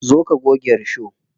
Zo ka goge risho.